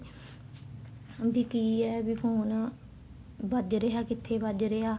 ਵੀ ਕੀ ਹੈ ਵੀ phone ਭੱਜ ਰਿਹਾ ਕਿੱਥੇ ਭੱਜ ਰਿਹਾ